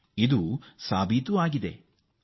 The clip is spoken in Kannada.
ಇದು ಸಾಬೀತಾಗಿದೆ ಕೂಡ